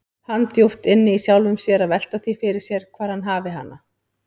Hann djúpt inni í sjálfum sér að velta því fyrir sér hvar hann hafi hana.